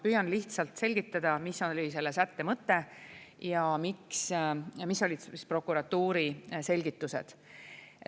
Püüan lihtsalt selgitada, mis oli selle sätte mõte ja mis olid prokuratuuri selgitused.